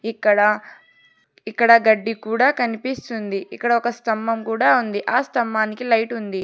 ఇక్కడ ఇక్కడ గడ్డి కూడా కనిపిస్తుంది ఇక్కడ ఒక స్తంభం కూడా ఉంది ఆ స్తంభానికి లైట్ ఉంది.